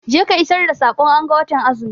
Je ka isar da sakon anga watan azumi!